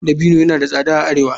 Dabino yana da tsada a arewa.